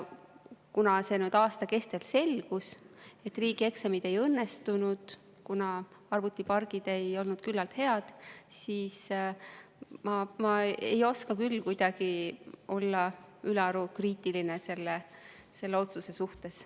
Kuna aasta kestel selgus, et riigieksamid ei õnnestunud, sest arvutipargid ei olnud küllalt head, siis ma ei oska küll kuidagi ülearu kriitiline olla selle otsuse suhtes.